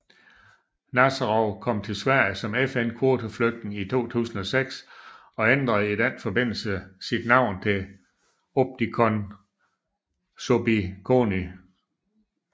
Nazarov kom til Sverige som FN kvoteflygtning i 2006 og ændret i den forbindelse sit navn til Obidkhon Sobitkhony